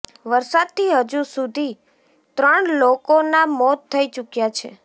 વરસાદથી હજુ સુથી ત્રણ લોકોના મોત થઇ ચુક્યા છે